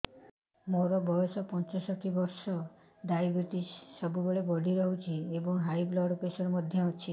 ମୋର ବୟସ ପଞ୍ଚଷଠି ବର୍ଷ ଡାଏବେଟିସ ସବୁବେଳେ ବଢି ରହୁଛି ଏବଂ ହାଇ ବ୍ଲଡ଼ ପ୍ରେସର ମଧ୍ୟ ଅଛି